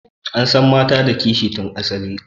Mata suna da kishi tun asali.